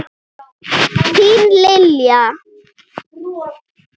Þín, Lilja.